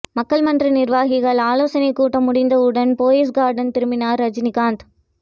மக்கள் மன்ற நிர்வாகிகள் ஆலோசனை கூட்டம் முடிந்த உடன் போயஸ் கார்டன் திரும்பினார் ரஜினிகாந்த்